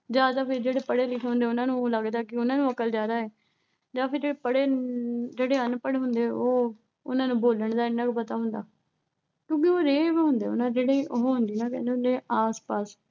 ਜਾਂ ਤਾਂ ਫਿਰ ਜਿਹੜੇ ਪੜ੍ਹੇ ਲਿਖੇ ਹੁੰਦੇ ਆ। ਉਨ੍ਹਾਂ ਨੂੰ ਆਏਂ ਲੱਗਦਾ ਵੀ ਉਨ੍ਹਾਂ ਨੂੰ ਅਕਲ ਜ਼ਿਆਦਾ। ਜਾਂ ਫਿਰ ਪੜ੍ਹੇ ਅਹ ਜਿਹੜੇ ਅਨਪੜ੍ਹ ਹੁੰਦੇ ਆ, ਉਨ੍ਹਾਂ ਨੂੰ ਬੋਲਣ ਦਾ ਨੀਂ ਇੰਨਾ ਪਤਾ ਹੁੰਦਾ। ਹੁੰਦੇ ਆ ਜਿਹੜੇ, ਉਹ ਹੁੰਦੇ ਆ ਨਾ ਜਿਹੜੇ ਕਹਿੰਦੇ ਹੁੰਦੇ ਆ ਆਸ-ਪਾਸ